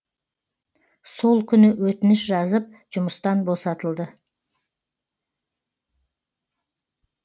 сол күні өтініш жазып жұмыстан босатылды